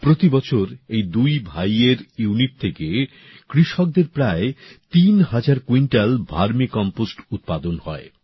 প্রতি বছর এই দুই ভাইয়ের ইউনিট থেকে কৃষকদের প্রায় তিন হাজার কুইন্টাল ভার্মি কম্পোস্ট উৎপাদন হয়